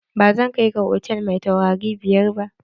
Ba zan kai ka hotal mai taurari biyar ba!